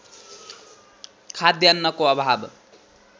खाद्यान्नको अभाव